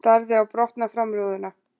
Starði á brotna framrúðuna.